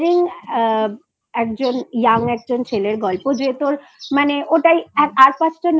Aspiring একজন Young একজন ছেলের গল্প যে তোর মানে ওটাই আর পাঁচজন